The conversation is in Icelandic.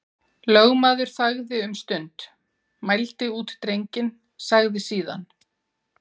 Lögmaður þagði um stund, mældi út drenginn, sagði síðan